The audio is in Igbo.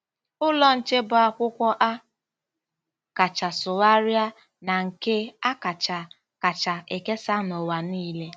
Ụlọ Nche bụ akwụkwọ a kacha sụgharịa na nke a kacha kacha ekesa n'ụwa niile.